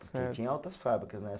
Porque tinha outras fábricas, né?